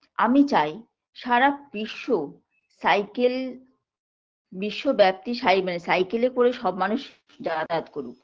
আমি চাই সারা বিশ্ব cycle বিশ্বব্যাপী সাই মানে cycle -এ করে সব মানুষ যাতায়াত করুক